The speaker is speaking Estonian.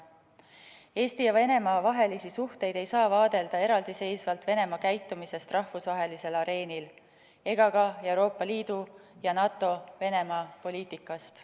Eesti ja Venemaa vahelisi suhteid ei saa vaadelda eraldiseisvalt Venemaa käitumisest rahvusvahelisel areenil ega ka Euroopa Liidu ja NATO Venemaa-poliitikast.